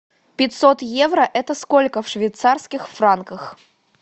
пятьсот евро это сколько в швейцарских франках